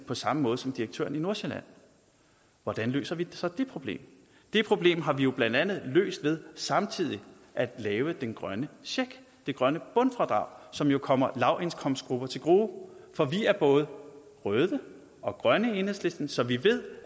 på samme måde som direktøren i nordsjælland hvordan løser vi så det problem det problem har vi jo blandt andet løst ved samtidig at lave den grønne check det grønne bundfradrag som jo kommer lavindkomstgrupper til gode for vi er både røde og grønne i enhedslisten så vi ved